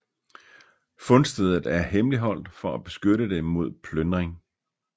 Fundstedet er hemmeligholdt for at beskytte det mod plyndring